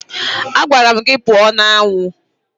Agwara m gị pụọ n'anwụ!